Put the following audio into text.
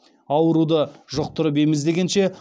ауруды жұқтырып ем іздегенше